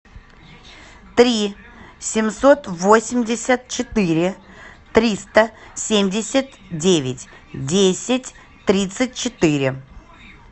три семьсот восемьдесят четыре триста семьдесят девять десять тридцать четыре